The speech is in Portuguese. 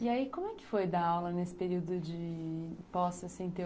E aí, como é que foi dar aula nesse período de pós-sessenta e?